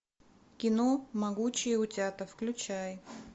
кино могучие утята включай